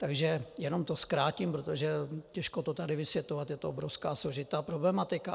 Takže jenom to zkrátím, protože těžko to tady vysvětlovat, je to obrovská, složitá problematika.